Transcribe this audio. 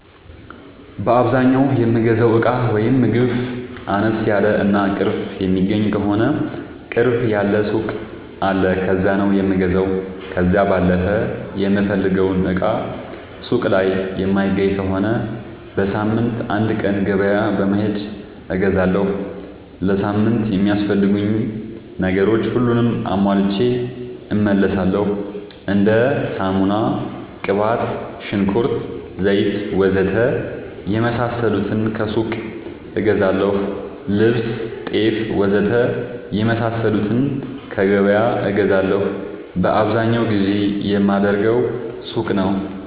በአዛኛው የምገዛው እቃ ወይም ምግብ አነስ ያለ እና ቅርብ የሚገኝ ከሆነ ቅርብ ያለ ሱቅ አለ ከዛ ነው የምገዛው። ከዛ ባለፈ የምፈልገውን እቃ ሱቅ ላይ የማይገኝ ከሆነ በሳምንት አንድ ቀን ገበያ በመሄድ እገዛለሁ። ለሳምንት የሚያስፈልጉኝ ነገሮች ሁሉንም አሟልቼ እመለሣለሁ። እንደ ሳሙና፣ ቅባት፣ ሽንኩርት፣ ዘይት,,,,,,,,, ወዘተ የመሣሠሉትን ከሱቅ እገዛለሁ። ልብስ፣ ጤፍ,,,,,,,,, ወዘተ የመሣሠሉትን ከገበያ እገዛለሁ። በአብዛኛው ግዢ የማደርገው ሱቅ ነው።